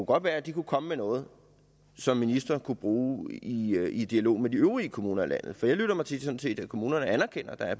godt være at de kunne komme med noget som ministeren kunne bruge i dialog med de øvrige kommuner i landet jeg lytter mig sådan set til at kommunerne anerkender at der er